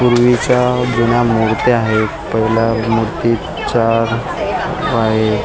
पूर्वीच्या जुन्या मुर्त्या आहेत पहिला मूर्तीच्या आहेत.